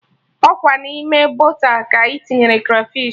Ọkwa n'ime boota ka ị tinyere krafish